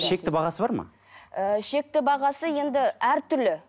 шекті бағасы бар ма ыыы шекті бағасы енді әртүрлі